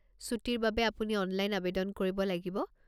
ছুটীৰ বাবে আপুনি অনলাইন আৱেদন কৰিব লাগিব।